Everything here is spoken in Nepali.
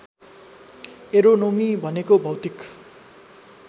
एरोनोमी भनेको भौतिक